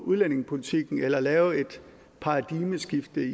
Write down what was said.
udlændingepolitikken eller lave et paradigmeskift i